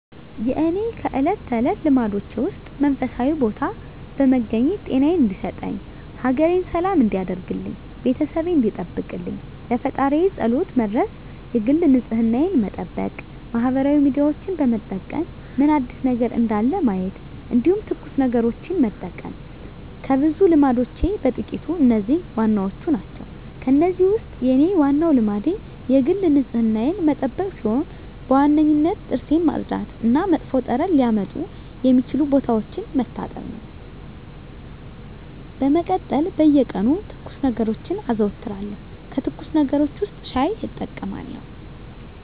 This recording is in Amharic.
የእኔ ከእለት ተለት ልማዶቼ ውስጥ መንፈሳዊ ቦታ በመገኘት ጤናየን እንዲሰጠኝ፣ ሀገሬን ሰላም እንዲያደርግልኝ፣ ቤተሰቤን እንዲጠብቅልኝ ለፈጣሪየ ፀሎት መድረስ የግል ንፅህናየን መጠበቅ ማህበራዊ ሚዲያዎችን በመጠቀም ምን አዲስ ነገር እንዳለ ማየት እንዲሁም ትኩስ ነገሮችን መጠቀም ከብዙ ልማዶቼ በጥቂቱ እነዚህ ዋናዎቹ ናቸው። ከእነዚህ ውስጥ የኔ ዋናው ልማዴ የግል ንፅህናዬን መጠበቅ ሲሆን በዋነኝነት ጥርሴን ማፅዳት እና መጥፎ ጠረን ሊያመጡ የሚችሉ ቦታዎችን መታጠብ ነው። በመቀጠል በየቀኑ ትኩስ ነገሮችን አዘወትራለሁ ከትኩስ ነገሮች ውስጥ ሻይ እጠቀማለሁ።